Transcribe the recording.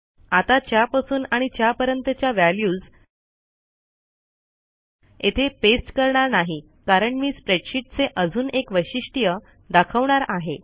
आता च्यापासून आणि च्यापर्यंतच्या व्हॅल्यूज येथे पेस्ट करणार नाही कारण मी स्प्रेडशीटचे अजून एक वैशिष्ट्य दाखवणार आहे